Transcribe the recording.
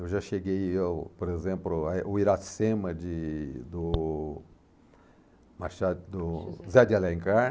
Eu já cheguei, já ó por exemplo, é o Iracema, de do Machado, do, José de Alencar.